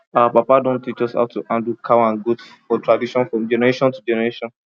our papa don teach us how to handle cow and goat for tradition from generation to generation